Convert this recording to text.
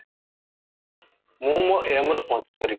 ମୁ ମୋ aim ରେ ପହଞ୍ଚିପାରିବି